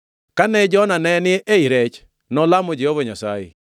Kane Jona ne ni ei rech, nolamo Jehova Nyasaye.